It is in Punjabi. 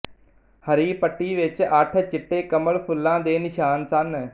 ਹਰੀ ਪੱਟੀ ਵਿੱਚ ਅੱਠ ਚਿੱਟੇ ਕਮਲ ਫੁੱਲਾਂ ਦੇ ਨਿਸ਼ਾਨ ਸਨ